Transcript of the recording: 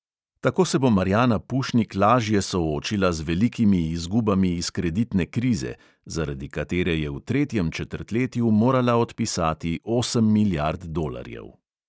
Tako se bo marjana pušnik lažje soočila z velikimi izgubami iz kreditne krize, zaradi katere je v tretjem četrtletju morala odpisati osem milijard dolarjev.